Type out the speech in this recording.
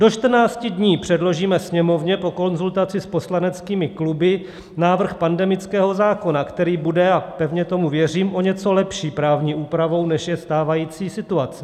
Do 14 dní předložíme Sněmovně po konzultaci s poslaneckými kluby návrh pandemického zákona, který bude - a pevně tomu věřím - o něco lepší právní úpravou, než je stávající situace.